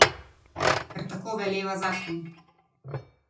Ker tako veleva zakon.